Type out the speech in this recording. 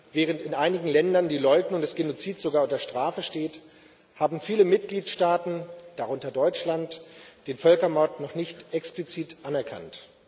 Während in einigen Ländern die Leugnung des Genozids sogar unter Strafe steht, haben viele Mitgliedstaaten, darunter Deutschland, den Völkermord noch nicht explizit anerkannt.